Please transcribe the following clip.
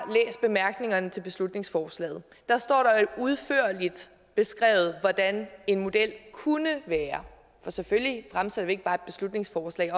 nej nu til beslutningsforslaget der står jo udførligt beskrevet hvordan en model kunne være for selvfølgelig fremsætter vi ikke bare et beslutningsforslag